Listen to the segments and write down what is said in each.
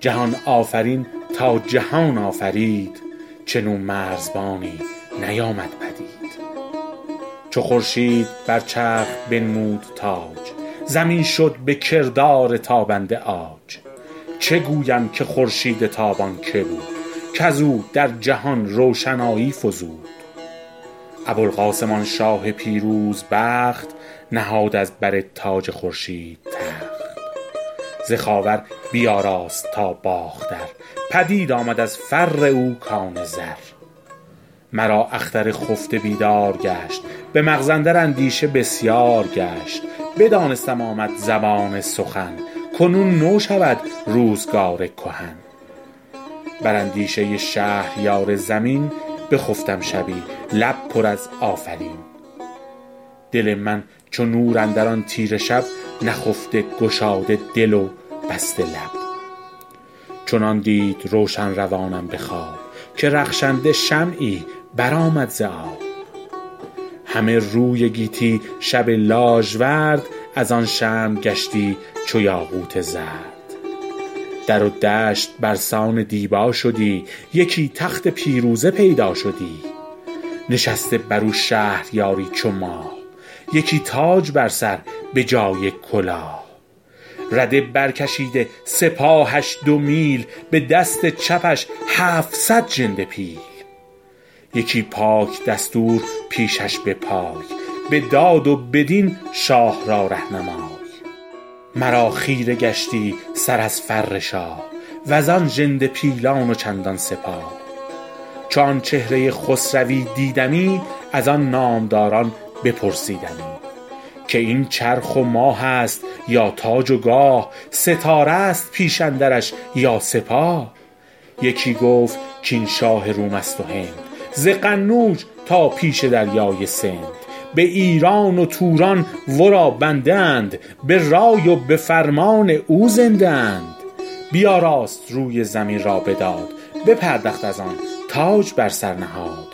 جهان آفرین تا جهان آفرید چون او مرزبانی نیامد پدید چو خورشید بر چرخ بنمود تاج زمین شد به کردار تابنده عاج چه گویم که خورشید تابان که بود کز او در جهان روشنایی فزود ابوالقاسم آن شاه پیروز بخت نهاد از بر تاج خورشید تخت ز خاور بیاراست تا باختر پدید آمد از فر او کان زر مرا اختر خفته بیدار گشت به مغز اندر اندیشه بسیار گشت بدانستم آمد زمان سخن کنون نو شود روزگار کهن بر اندیشه شهریار زمین بخفتم شبی لب پر از آفرین دل من چو نور اندر آن تیره شب نخفته گشاده دل و بسته لب چنان دید روشن روانم به خواب که رخشنده شمعی بر آمد ز آب همه روی گیتی شب لاژورد از آن شمع گشتی چو یاقوت زرد در و دشت بر سان دیبا شدی یکی تخت پیروزه پیدا شدی نشسته بر او شهریاری چو ماه یکی تاج بر سر به جای کلاه رده بر کشیده سپاهش دو میل به دست چپش هفتصد ژنده پیل یکی پاک دستور پیشش به پای به داد و به دین شاه را رهنمای مرا خیره گشتی سر از فر شاه و زان ژنده پیلان و چندان سپاه چو آن چهره خسروی دیدمی از آن نامداران بپرسیدمی که این چرخ و ماه است یا تاج و گاه ستاره است پیش اندرش یا سپاه یکی گفت کاین شاه روم است و هند ز قنوج تا پیش دریای سند به ایران و توران ورا بنده اند به رای و به فرمان او زنده اند بیاراست روی زمین را به داد بپردخت از آن تاج بر سر نهاد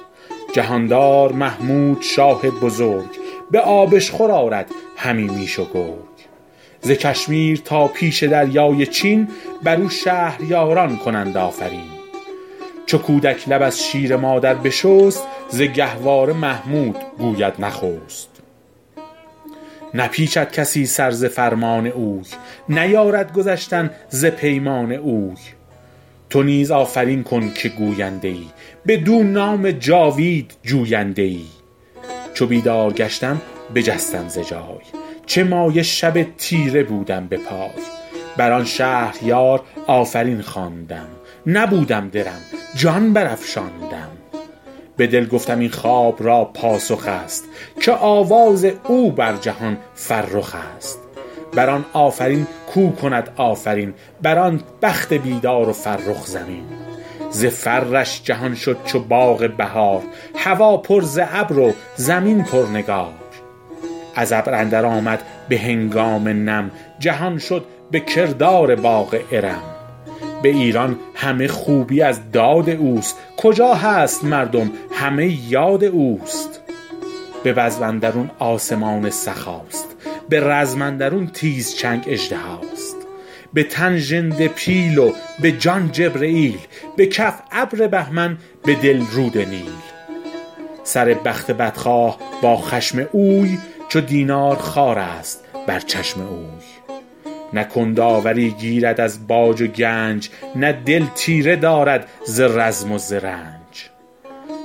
جهاندار محمود شاه بزرگ به آبشخور آرد همی میش و گرگ ز کشمیر تا پیش دریای چین بر او شهریاران کنند آفرین چو کودک لب از شیر مادر بشست ز گهواره محمود گوید نخست نپیچد کسی سر ز فرمان اوی نیارد گذشتن ز پیمان اوی تو نیز آفرین کن که گوینده ای بدو نام جاوید جوینده ای چو بیدار گشتم بجستم ز جای چه مایه شب تیره بودم به پای بر آن شهریار آفرین خواندم نبودم درم جان بر افشاندم به دل گفتم این خواب را پاسخ است که آواز او بر جهان فرخ است بر آن آفرین کو کند آفرین بر آن بخت بیدار و فرخ زمین ز فرش جهان شد چو باغ بهار هوا پر ز ابر و زمین پر نگار از ابر اندر آمد به هنگام نم جهان شد به کردار باغ ارم به ایران همه خوبی از داد اوست کجا هست مردم همه یاد اوست به بزم اندرون آسمان سخاست به رزم اندرون تیز چنگ اژدهاست به تن ژنده پیل و به جان جبرییل به کف ابر بهمن به دل رود نیل سر بخت بدخواه با خشم اوی چو دینار خوارست بر چشم اوی نه کند آوری گیرد از باج و گنج نه دل تیره دارد ز رزم و ز رنج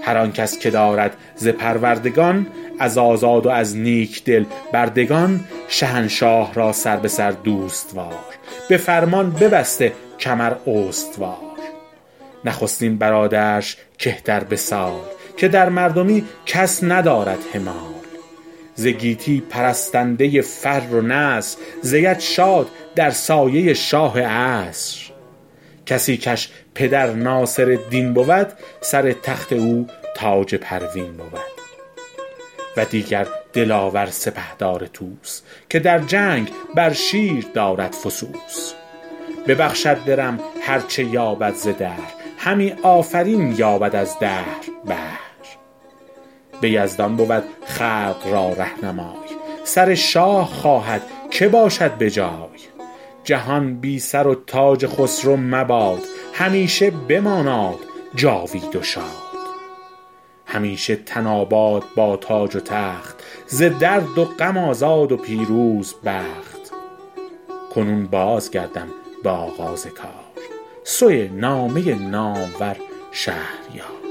هر آن کس که دارد ز پروردگان از آزاد و از نیک دل بردگان شهنشاه را سر به سر دوست وار به فرمان ببسته کمر استوار نخستین برادرش که تر به سال که در مردمی کس ندارد همال ز گیتی پرستنده فر و نصر زید شاد در سایه شاه عصر کسی کش پدر ناصرالدین بود سر تخت او تاج پروین بود و دیگر دلاور سپهدار طوس که در جنگ بر شیر دارد فسوس ببخشد درم هر چه یابد ز دهر همی آفرین یابد از دهر بهر به یزدان بود خلق را رهنمای سر شاه خواهد که باشد به جای جهان بی سر و تاج خسرو مباد همیشه بماناد جاوید و شاد همیشه تن آباد با تاج و تخت ز درد و غم آزاد و پیروز بخت کنون باز گردم به آغاز کار سوی نامه نامور شهریار